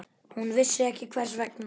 Hann vissi ekki hvers vegna.